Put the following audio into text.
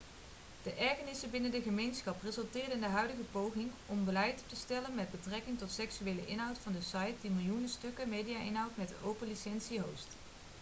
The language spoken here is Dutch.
de ergernissen binnen de gemeenschap resulteerde in de huidige pogingen om een beleid op te stellen met betrekking tot seksuele inhoud van de site die miljoenen stukken media-inhoud met een open licentie host